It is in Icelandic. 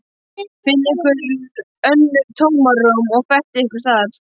Finnið ykkur önnur tómarúm og fettið ykkur þar.